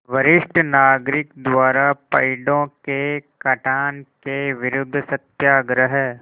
वरिष्ठ नागरिक द्वारा पेड़ों के कटान के विरूद्ध सत्याग्रह